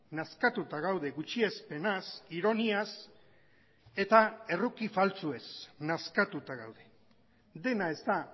nazkatuta gaude gutxiespenaz ironiaz eta erruki faltsuez nazkatuta gaude dena ez da